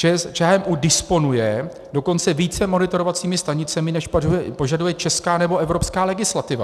ČHMÚ disponuje dokonce více monitorovacími stanicemi, než požaduje česká nebo evropská legislativa.